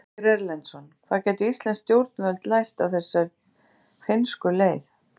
Ásgeir Erlendsson: Hvað gætu íslensk stjórnvöld lært af þessari finnsku leið?